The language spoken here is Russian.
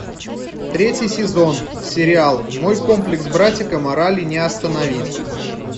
третий сезон сериал мой комплекс братика морали не остановить